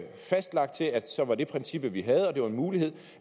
fastlagt til at så var det princippet vi havde og det var en mulighed